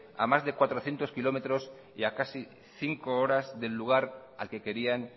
a más de cuatrocientos kilómetros y a casi cinco horas del lugar al que querían